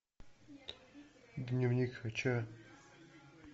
дневник хача